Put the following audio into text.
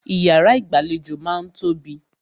Ìyàrá ìgbàlejò máà ń tóbi.